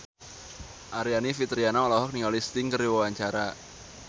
Aryani Fitriana olohok ningali Sting keur diwawancara